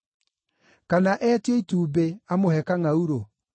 Kana eetio itumbĩ amũhe kangʼaurũ?